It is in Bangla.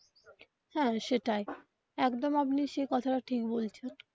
হ্যা সেটাই একদম আপনি সেই কথাটা ঠিক বলেছেন.